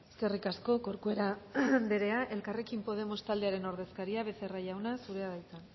eskerrik asko corcuera anderea elkarrekin podemos taldearen ordezkaria becerra jauna zurea da hitza